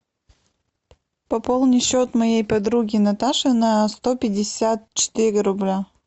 пополни счет моей подруги наташи на сто пятьдесят четыре рубля